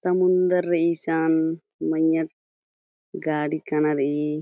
समुन्दर रई इशन मैय्या गाड़ी काना रई--